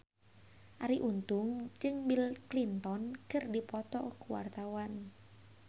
Arie Untung jeung Bill Clinton keur dipoto ku wartawan